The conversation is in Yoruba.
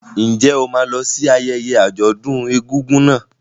Ǹjẹ́ o máa lọ sí ayẹyẹ àjọ̀dún egúngún náà?